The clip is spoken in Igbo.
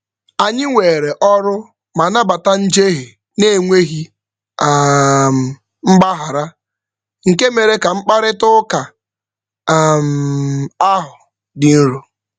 Anyị weere ọrụ ma nabata njehie na-enweghị um mgbaghara, nke mere ka mkparịtaụka um ahụ dị nro.